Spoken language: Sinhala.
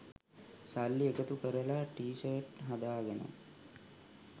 සල්ලි එකතු කරලා ටී ෂර්ට් හදාගෙන